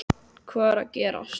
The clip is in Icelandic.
Hvað er að gerast???